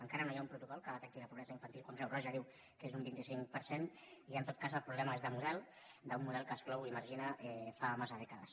encara no hi ha un protocol que detecti la pobresa infantil quan creu roja diu que és un vint cinc per cent i en tot cas el problema és de model d’un model que exclou i margina fa massa dècades